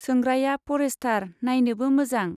सोंग्राया फरेष्टार, नाइनोबो मोजां।